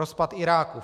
Rozpad Iráku.